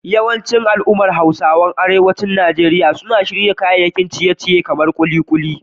Yawancin al'ummar Hausawa a arewacin Najeriya suna shirya kayan ciye-ciye na gargajiya kamar kulikuli